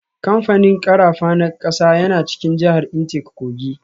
Kamfanin karafa na kasa yana cikin jihar Intake Kogi.